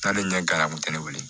N'ale ɲɛ dara u tɛ ne wele